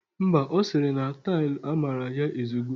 Mba, ọ siri na tailu amara ya ezugo.